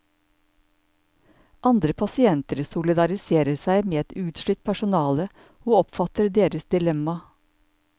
Andre pasienter solidariserer seg med et utslitt personale, og oppfatter deres dilemma.